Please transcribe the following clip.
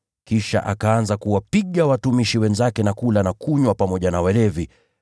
kisha akaanza kuwapiga watumishi wenzake, na kula na kunywa pamoja na walevi.